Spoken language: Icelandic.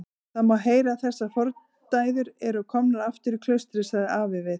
Það má heyra að þessar fordæður eru komnar aftur í klaustrið, sagði afi við